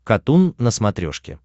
катун на смотрешке